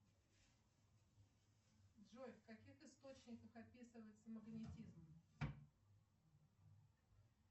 джой в каких источниках описывается магнетизм